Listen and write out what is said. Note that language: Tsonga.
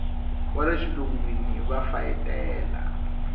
wa le xilungwini va fayetela